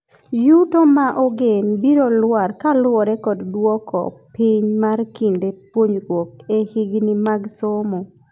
Yuto ma ogen biro lwar kaluore kod dwoko piny mar kinde puonjruok e higni mag somo.